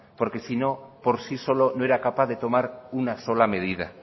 porque si no por sí solo no era capaz de tomar una sola medida